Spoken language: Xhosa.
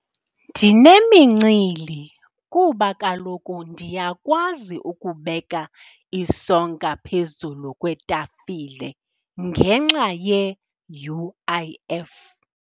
Ndinemincili kuba kaloku ndiyakwazi ukubeka isonka phezulu kwetafile ngenxa ye-U_I_F.